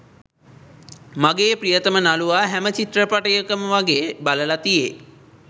මගේ ප්‍රියතම නළුවා හැම චිත්‍රපටයම වගේ බලලා තියේ.